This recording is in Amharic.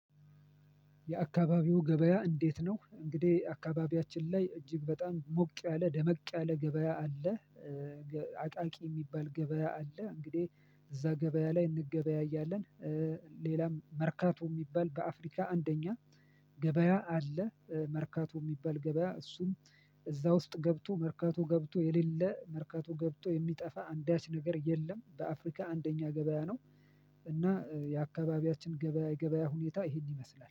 የአካባቢው ገበያ እንዴት ነው? እንግዲህ አካባቢያችን ላይ እጅግ በጣም ሞቅ ያለ ደመቅ ያለ ገበያ አለ። አቃቂ የሚባል ገበያ አለ። እንግዲህ እዛ ገበያ ላይ እንገበያያለን ሌላም መርካቶ የሚባል በአፍሪካ አንደኛ ገበያ አለ። መርካቶ የሚባል ገበያ እሱም እዛ ውስጥ ገብቶ መርካቶ ገብቶ የሌለ መርካቶ ገብቶ የሚጠፋ አንዳች ነገር የለም በአፍሪካ አንደኛ ገበያ ነው እና የአካባቢያችን ገበያ የገበያ ሁኔታ ይኸን ይመስላል።